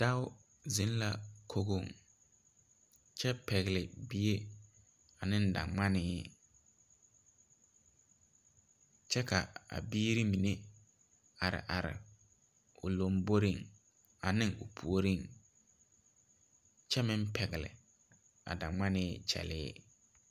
Doɔ zeng la kogo kye pɛgli bie ane dangmanii kye ka a biiri mene a arẽ ɔ lɔmbori ane ɔ pouring kye meng pɛgle a dangmanii kyelee.